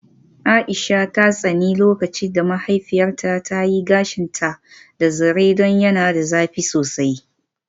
Aisha ta tsani lokacin da mahaifiyarta ta yi gashinta da zaren don yana da zafi sosai.